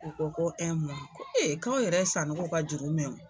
U ko ko ko ee k'aw yɛrɛ ye sanogo ka juru mɛn.